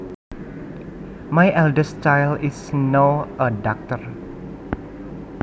My eldest child is now a doctor